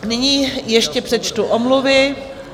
Nyní ještě přečtu omluvy.